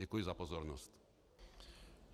Děkuji za pozornost.